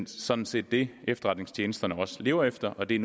sådan set det efterretningstjenesterne også lever efter og det er